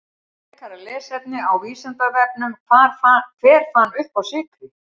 Frekara lesefni á Vísindavefnum: Hver fann uppá sykri?